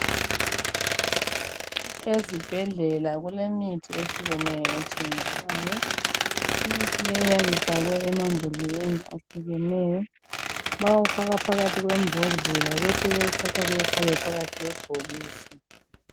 Ezibhedlela kulemithi ehlukeneyo ethengiswayo imithi leyi iyabe ifakwe emambhodleleni ahlukeneyo bayawufaka phakathi kwembodlela besebewuthatha bewufake phakathi kwebhokisi.